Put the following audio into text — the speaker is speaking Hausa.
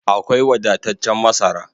Akwai wadataccen masara